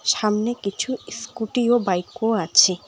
সামনে কিছু স্কুটি ও বাইকও আছে।